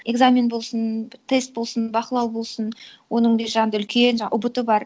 экзамен болсын тест болсын бақылау болсын оның бер жағында үлкен ұбт бар